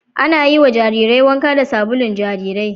Ana yiwa jarirai wanka da sabulu jarirai